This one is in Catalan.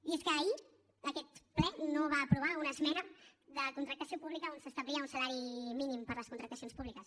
i és que ahir aquest ple no va aprovar una esmena de contractació pública on s’establia un salari mínim per a les contractacions públiques